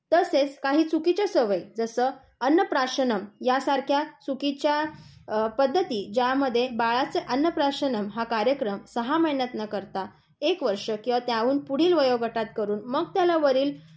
तसेच काही चुकीच्या सवयी जसे अन्नप्राशनम यासारख्या चुकीच्या पध्दती यामध्ये बाळाचे अन्नप्राशनम हा कार्यक्रम सहा महिन्यात न करता एक वर्ष किंवा त्यापुढील वयोगटात करून मग त्याला वरील